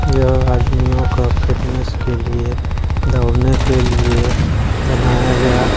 यह आदमियों का फिट्नेस के लिए दौड़ने के लिए बनाया गया--